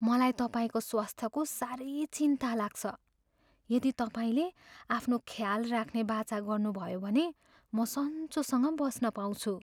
मलाई तपाईँको स्वास्थ्यको साह्रै चिन्ता लाग्छ। यदि तपाईँले आफ्नो ख्याल राख्ने बाचा गर्नुभयो भने म सञ्चोसँग बस्न पाउँछु।